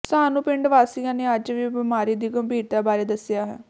ਸਾਨੂੰ ਪਿੰਡ ਵਾਸੀਆਂ ਨੇ ਅੱਜ ਹੀ ਬੀਮਾਰੀ ਦੀ ਗੰਭੀਰਤਾ ਬਾਰੇ ਦੱਸਿਆ ਹੈ